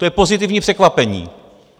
To je pozitivní překvapení.